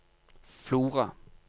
Flora